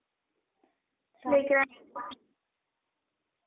रवी तेजा आवडतो.